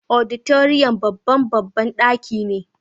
Auditorium babban babban daki ne.